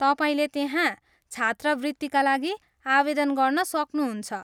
तपाईँले त्यहाँ छात्रवृत्तिका लागि आवेदन गर्न सक्नुहुन्छ।